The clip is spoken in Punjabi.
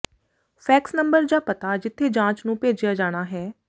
ਫੈਕਸ ਨੰਬਰ ਜਾਂ ਪਤਾ ਜਿੱਥੇ ਜਾਂਚ ਨੂੰ ਭੇਜਿਆ ਜਾਣਾ ਹੈ